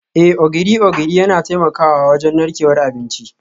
Eh, Ogiri ogiri yana taimakawa wajen narkewar abinci